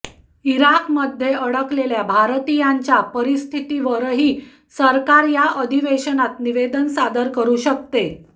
इराकमध्ये अडकलेल्या भारतीयांच्या परिस्थितीवरही सरकार या अधिवेशनात निवेदन सादर करू शकते